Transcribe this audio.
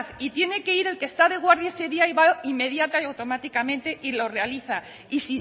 y tiene que ir el que está de guardia ese día y va inmediata y automáticamente y lo realiza y